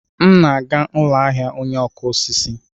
M na-aga ụlọ ahịa ọnye okụ osisi.